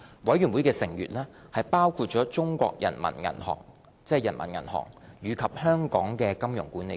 委員會成員包括中國人民銀行和香港金融管理局。